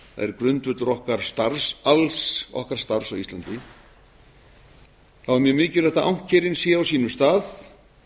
er grundvöllur alls okkar starfs á íslandi þá er mjög mikilvægt að ankerin séu á sínum stað